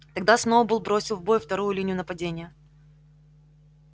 тогда сноуболл бросил в бой вторую линию нападения